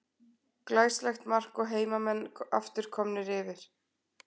Glæsilegt mark og heimamenn aftur komnir yfir.